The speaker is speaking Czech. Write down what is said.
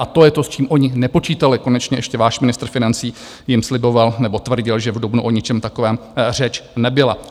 A to je to, s čím oni nepočítali, konečně ještě váš ministr financí jim sliboval nebo tvrdil, že v dubnu o ničem takovém řeč nebyla.